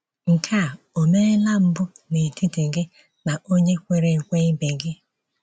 Nke a ò meela mbụ n'etiti gị na onye kwere ekwe ibe gị.